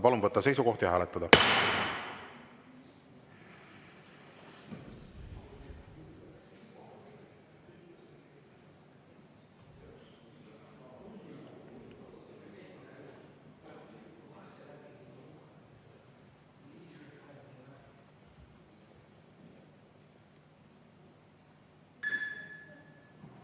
Palun võtta seisukoht ja hääletada!